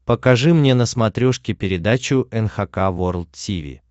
покажи мне на смотрешке передачу эн эйч кей волд ти ви